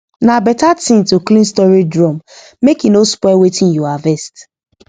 na better thing to clean storage drum make e no spoil wetin you harvest